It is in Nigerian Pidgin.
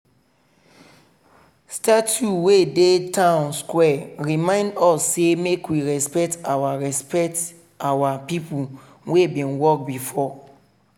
we stop small con keep quiet for di memorial before we continue our waka for waka for park.